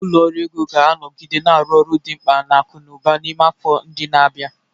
Ụlọ ọrụ ego ga-anọgide na-arụ ọrụ dị mkpa na akụ na ụba n'ime afọ ndị na-abịa.